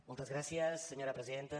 moltes gràcies senyora presidenta